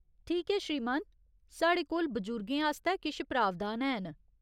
ठीक ऐ, श्रीमान। साढ़े कोल बजुर्गें आस्तै किश प्रावधान हैन।